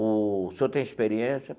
O senhor tem experiência?